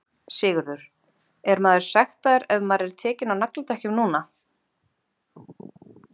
Sigurður: Er maður sektaður ef maður er tekinn á nagladekkjum núna?